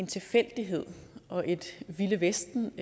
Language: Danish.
tilfældighed og et vildt vesten